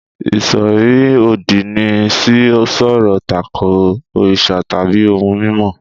Ìṣòro-òdì ni sì sọ̀rọ̀ takò òrìṣà tàbí ohun mímọ́.